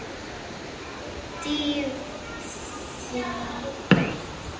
Dýfði árinni djúpt.